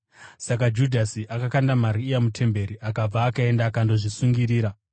Saka Judhasi akakanda mari iya mutemberi akabva akaenda akandozvisungirira.